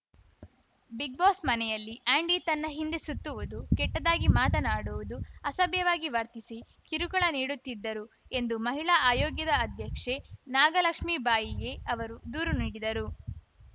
Bigg Boss ಮನೆಯಲ್ಲಿ Andy ತನ್ನ ಹಿಂದೆ ಸುತ್ತುವುದು ಕೆಟ್ಟದಾಗಿ ಮಾತನಾಡುವುದು ಅಸಭ್ಯವಾಗಿ ವರ್ತಿಸಿ ಕಿರುಕುಳ ನೀಡುತ್ತಿದ್ದರು ಎಂದು ಮಹಿಳಾ ಆಯೋಗ್ಯದ ಅಧ್ಯಕ್ಷೆ ನಾಗಲಕ್ಷ್ಮಿ ಬಾಯಿಗೆ ಅವರಿಗೆ ದೂರು ನೀಡಿದರು